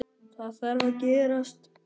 Það þarf að gerast.